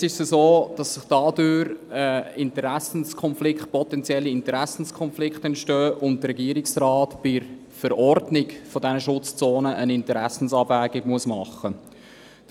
Jetzt ist es so, dass dadurch potenzielle Interessenkonflikte entstehen und der Regierungsrat bei der Verordnung zu diesen Schutzzonen eine Interessenabwägung machen muss.